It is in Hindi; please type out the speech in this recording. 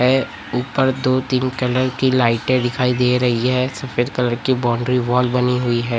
ए ऊपर दो तीन कलर की लाइटें दिखाई दे री है सफेद कलर की बाउंड्री वाल बनी हुई है।